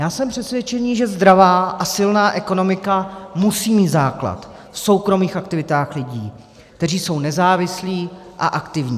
Já jsem přesvědčený, že zdravá a silná ekonomika musí mít základ v soukromých aktivitách lidí, kteří jsou nezávislí a aktivní.